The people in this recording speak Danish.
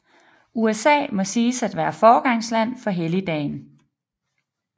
USA må siges at være foregangsland for helligdagen